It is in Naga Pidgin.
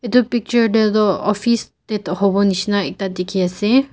etu picture te tu office te hobo nisna ekta dekhi ase.